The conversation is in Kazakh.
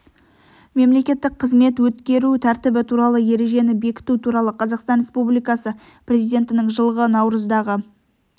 мемлекеттік қызмет өткеру тәртібі туралы ережені бекіту туралы қазақстан республикасы президентінің жылғы наурыздағы